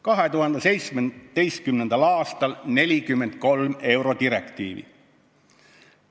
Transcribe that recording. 2017. aastal võeti üle 43 eurodirektiivi.